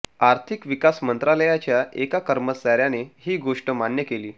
आर्थिक विकास मंत्रालयाच्या एका कर्मचाऱ्याने ही गोष्ट मान्य केली